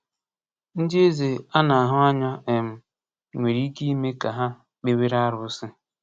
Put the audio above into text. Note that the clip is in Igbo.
Ndị eze a na-ahụ anya um nwere ike ime ka ha kpewere arụsị.